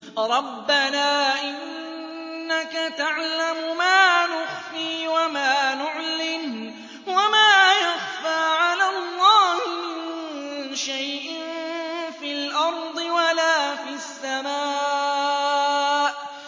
رَبَّنَا إِنَّكَ تَعْلَمُ مَا نُخْفِي وَمَا نُعْلِنُ ۗ وَمَا يَخْفَىٰ عَلَى اللَّهِ مِن شَيْءٍ فِي الْأَرْضِ وَلَا فِي السَّمَاءِ